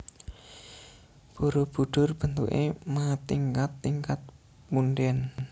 Barabudhur bentuké matingkat tingkat pundèn